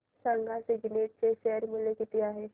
सांगा सिग्नेट चे शेअर चे मूल्य किती आहे